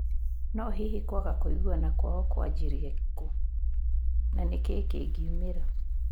No hihi, kwaga kũiguana kwao kwajĩrie kũ na nĩkĩĩ kĩngĩumĩra?